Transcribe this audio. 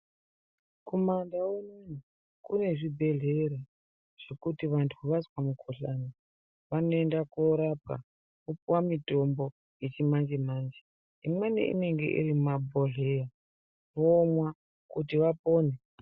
Kuma ndau unono kune zvibhedhlera zvekuti vantu vazwa mu kuhlani vanoenda korapwa vo piwa mutombo yechi manje manje imweni inenge iri muma bhodhlera vomwa kuti vapone.